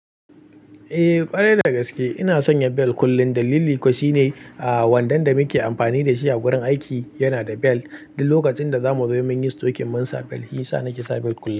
Eh, ƙwarai da gaske ina sanya bel kullum dalili kuwa shine, ah wandon da muke amfani da shi a gurin aiki yana da bel. Duk lokacin da zamu zo sai mun yi stokin mun sa bel, shi ya sa nake sa bel kullum.